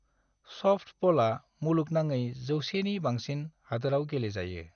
सफ्टबलआ मुलुगनाङै जौसेनि बांसिन हादोरआव गेलेजायो।